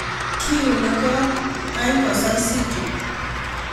Kiune kot , kany kosai sichut